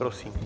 Prosím.